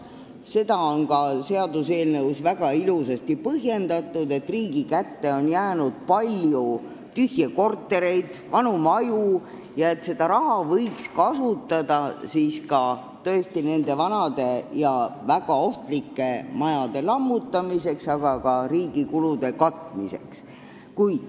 Seda on ka seaduseelnõus väga ilusasti põhjendatud: riigi kätte on jäänud palju tühje kortereid ja vanu maju ning seda raha võiks kasutada nende vanade ja väga ohtlike hoonete lammutamiseks, aga ka riigi muude kulude katmiseks.